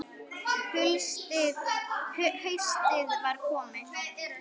Haustið var komið.